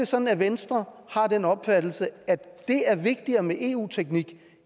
sådan at venstre har den opfattelse at det er vigtigere med eu teknik